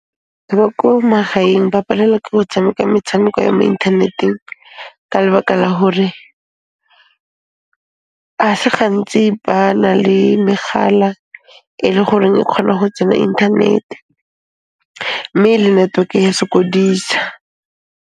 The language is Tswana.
Ba ko magaeng ba palelwa ke go tshameka metshameko ya mo inthaneteng ka lebaka la hore a se gantsi ba na le megala e le goreng e kgona ho tsena inthanete mme le network-e ya sokodisa.